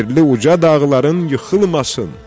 Yerli uca dağların yıxılmasın.